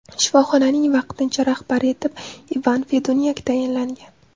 Shifoxonaning vaqtincha rahbari etib Ivan Fedunyak tayinlangan.